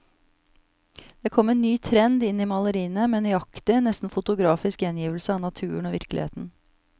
Det kom en ny trend inn i maleriene, med nøyaktig, nesten fotografisk gjengivelse av naturen og virkeligheten.